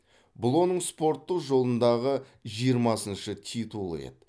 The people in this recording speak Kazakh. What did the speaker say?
бұл оның спорттық жолындағы жиырмасыншы титулы еді